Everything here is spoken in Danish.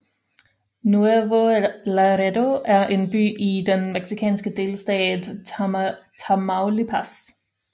Nuevo Laredo er en by i den mexikanske delstat Tamaulipas